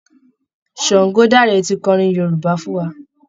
Ṣàngọdáre ti kọrin Yorúbá fún wa